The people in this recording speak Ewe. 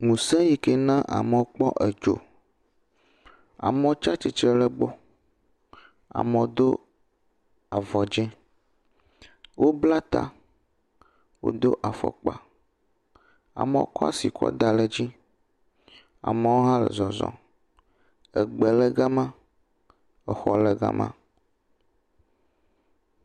Ŋuse yi ke na amewo kpɔ edzo. Amewo tsi atsitre ɖe egbɔ. Amewo do avɔ dze. Wobla ta. Wodo afɔkpa. Amewo kɔ asi kɔ da ɖe edzi. Amewo hã le zɔzɔm. egbe le ga ma. Exɔ le ga ma.